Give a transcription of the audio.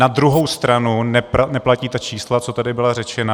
Na druhou stranu neplatí ta čísla, co tady byla řečena.